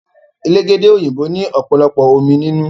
Elégédé òyìnbó òpòlopò omí nínú.